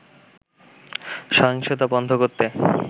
সহিংসতা বন্ধ করতে